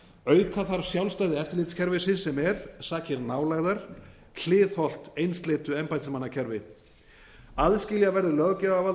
auka þarf sjálfstæði eftirlitskerfisins sem er sakir nálægðar hliðhollt einsleitu embættismannakerfi aðskilja verður löggjafarvald